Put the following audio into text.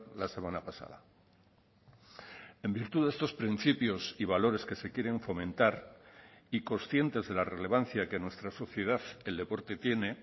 la semana pasada en virtud de estos principios y valores que se quieren fomentar y conscientes de la relevancia que en nuestra sociedad el deporte tiene